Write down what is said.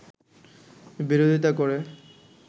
বিরোধীতা করে